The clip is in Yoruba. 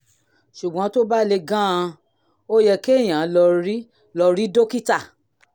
ṣùgbọ́n tó bá le gan-an ó yẹ kéèyàn lọ rí lọ rí dókítà